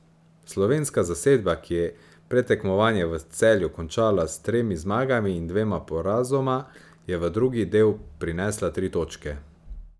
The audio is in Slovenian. Slovenska zasedba, ki je predtekmovanje v Celju končala s tremi zmagami in dvema porazoma, je v drugi del prinesla tri točke.